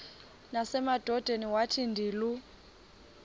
nasemadodeni wathi ndilu